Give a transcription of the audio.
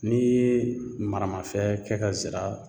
N'i ye maramafɛn kɛ ka zira